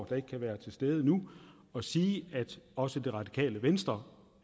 der ikke kan være til stede nu og sige at også det radikale venstre